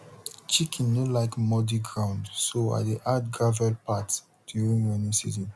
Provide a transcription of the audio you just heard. chicken no like muddy ground so i dey add gravel path during rainy season